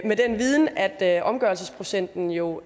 med den viden at at omgørelsesprocenten jo